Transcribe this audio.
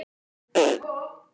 Einhverju sinni tóku bræður